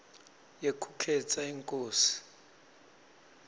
yekukhetsa inkosi